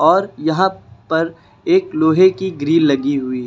और यहां पर एक लोहे की ग्रिल लगी हुई है।